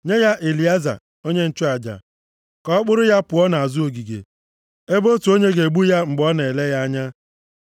Nye ya Elieza onye nchụaja, ka ọ kpụrụ ya pụọ nʼazụ ogige, ebe otu onye ga-egbu ya mgbe ọ nọ na-ele ya anya.